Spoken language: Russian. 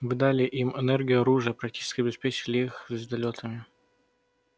вы дали им энергию оружие практически обеспечили их звездолётами